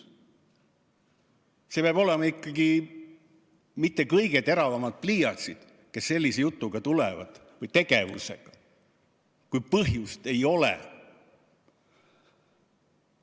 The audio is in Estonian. Need peavad olema ikkagi mitte kõige teravamad pliiatsid, kes tulevad sellise jutuga või tegevusega, kui põhjust ei ole.